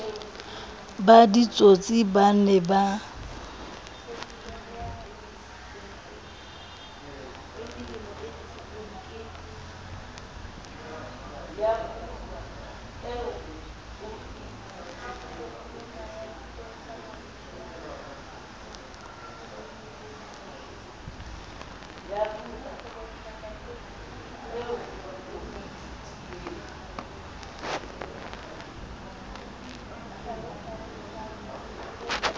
ba ditsotsi ba ne ba